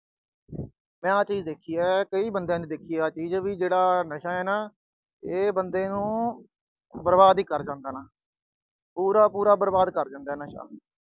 ਮੈਂ ਆਹ ਚੀਜ ਦੇਖੀ ਆ, ਕਈ ਬੰਦਿਆਂ ਨੇ ਦੇਖੀ ਆ ਆਹ ਚੀਜ ਵੀ ਆਹ ਜਿਹੜਾ ਨਸ਼ਾ ਆ ਨਾ, ਇਹ ਬੰਦੇ ਨੂੰ ਬਰਬਾਦ ਹੀ ਕਰ ਜਾਂਦਾ। ਪੂਰਾ ਪੂਰਾ ਬਰਬਾਦ ਕਰ ਜਾਂਦਾ ਨਸ਼ਾ।